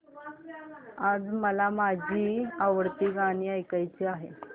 आज मला माझी आवडती गाणी ऐकायची आहेत